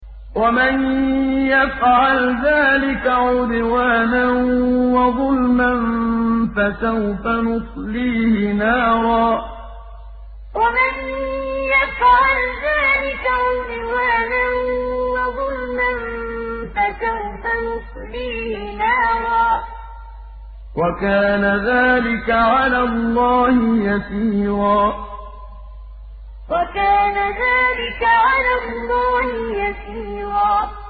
وَمَن يَفْعَلْ ذَٰلِكَ عُدْوَانًا وَظُلْمًا فَسَوْفَ نُصْلِيهِ نَارًا ۚ وَكَانَ ذَٰلِكَ عَلَى اللَّهِ يَسِيرًا وَمَن يَفْعَلْ ذَٰلِكَ عُدْوَانًا وَظُلْمًا فَسَوْفَ نُصْلِيهِ نَارًا ۚ وَكَانَ ذَٰلِكَ عَلَى اللَّهِ يَسِيرًا